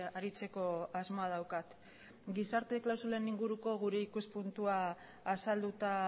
aritzeko asmoa daukat gizarte klausulen inguruko gure ikuspuntua azalduta